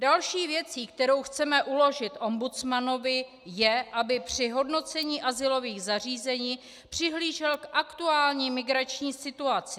Další věcí, kterou chceme uložit ombudsmanovi, je, aby při hodnocení azylových zařízení přihlížel k aktuální migrační situaci.